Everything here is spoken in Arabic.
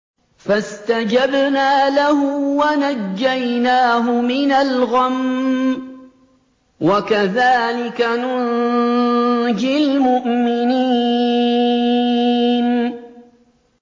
فَاسْتَجَبْنَا لَهُ وَنَجَّيْنَاهُ مِنَ الْغَمِّ ۚ وَكَذَٰلِكَ نُنجِي الْمُؤْمِنِينَ